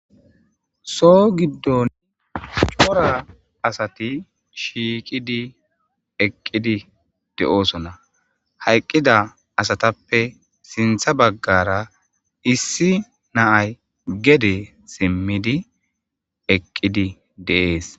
Soho gidon c'ora asati shiqidi eqidi de'osona. Hayqida asatappe sintha bagara issi na'ay gede simidi eqidi de'es.